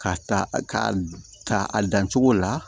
K'a ta ka a dan cogo la